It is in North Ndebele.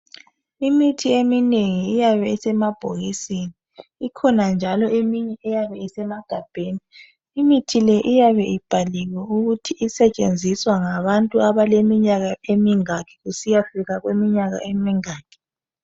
Imithi eminengi iyabe isemabhokisini kukhona eminye eyabe isemagabheni imithi le iyabe ibhaliwe ukuthi isetshenziswa ngabantu abaleminyaka emingaki kusiyafika kuminyaka emingaki